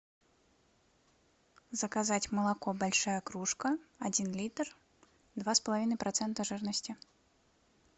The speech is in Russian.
заказать молоко большая кружка один литр два с половиной процента жирности